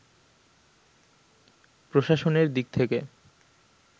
প্রশাসনের দিক থেকে